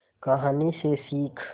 कहानी से सीख